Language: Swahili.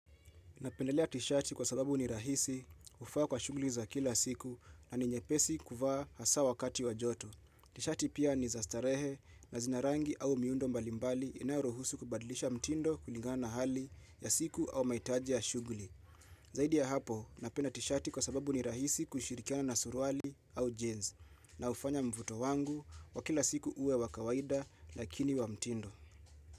Napendelea tishati kwa sababu ni rahisi, hufaa kwa shugli za kila siku na ni nyepesi kuvaa hasa wakati wa joto. Tishati pia ni za starehe na zina rangi au miundo mbalimbali inayoruhusu kubadilisha mtindo kuligana na hali ya siku au mahitaji ya shuguli. Zaidi ya hapo, napenda tishati kwa sababu ni rahisi kushirikiana na surwali au jeans, na ufanya mvuto wangu wa kila siku uwe wa kawaida lakini wa mtindo.